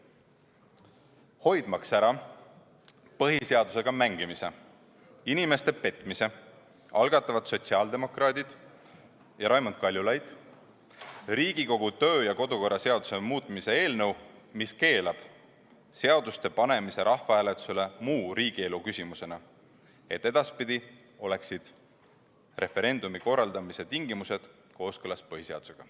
Hoidmaks ära põhiseadusega mängimist ja inimeste petmist, algatavad sotsiaaldemokraadid ja Raimond Kaljulaid Riigikogu kodu- ja töökorra seaduse muutmise eelnõu, mis keelab seaduste muu riigielu küsimusena rahvahääletusele panemise, et edaspidi oleksid referendumi korraldamise tingimused kooskõlas põhiseadusega.